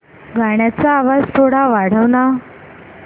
गाण्याचा थोडा आवाज वाढव ना